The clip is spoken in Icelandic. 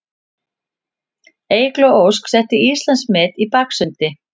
Eygló Ósk setti Íslandsmet í baksundi